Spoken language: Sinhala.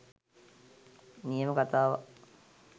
නියම කතාවක්